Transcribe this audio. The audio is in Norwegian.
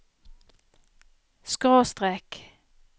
skråstrek